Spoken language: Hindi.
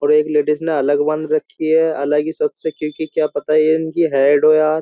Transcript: और एक लेडीस ने अलग बांध रखी है अलग ही सबसे क्योंकि क्या पता ये इनकी हेड हो यार --